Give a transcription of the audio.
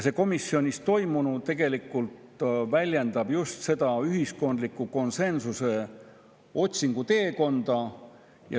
Komisjonis toimunu väljendab just seda ühiskondliku konsensuse otsimise teekonda.